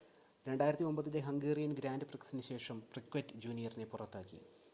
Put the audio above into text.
2009-ലെ Hungarian grand പ്രിക്‌സിന് ശേഷം Piquet ജൂനിയറിനെ പുറത്താക്കി